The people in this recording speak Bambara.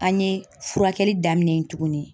An ye furakɛli daminɛ tuguni